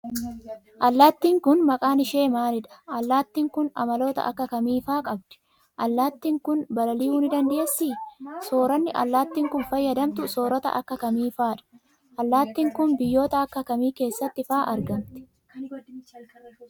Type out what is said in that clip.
Allaattiin kun, maqaan ishee maalidha? Allaattiin kun, amaloota akka kamii faa qabdi? Allaattiin kun, blal'iuu ni dandeessii? Sooranni allaattiin kun, fayyadamtu soorata akka kamii faa dha? Allaattiin kun, biyyoota akka kamii keessatti faa argamti?